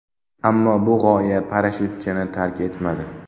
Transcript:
Ammo bu g‘oya parashyutchini tark etmadi.